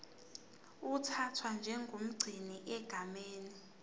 uthathwa njengomgcini egameni